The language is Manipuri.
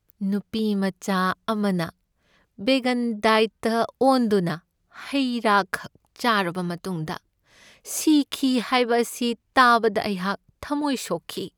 ꯅꯨꯄꯤ ꯃꯆꯥ ꯑꯃꯅ ꯕꯦꯒꯟ ꯗꯥꯏꯠꯇ ꯑꯣꯟꯗꯨꯅ ꯍꯩꯔꯥꯈꯛ ꯆꯥꯔꯕ ꯃꯇꯨꯡꯗ ꯁꯤꯈꯤ ꯍꯥꯏꯕ ꯑꯁꯤ ꯇꯥꯕꯗ ꯑꯩꯍꯥꯛ ꯊꯝꯃꯣꯏ ꯁꯣꯛꯈꯤ ꯫